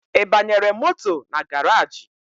I banyere moto na garaji?